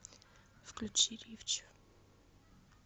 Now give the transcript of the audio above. включи риффч